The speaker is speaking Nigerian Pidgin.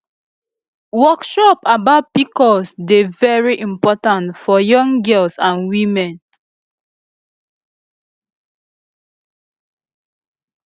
workshops about pcos dey very important for young girls and women